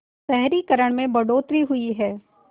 शहरीकरण में बढ़ोतरी हुई है